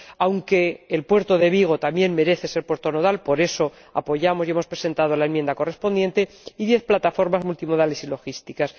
―aunque el puerto de Vigo también merece ser puerto nodal, por eso apoyamos y hemos presentado la enmienda correspondiente― y diez plataformas multimodales y logísticas.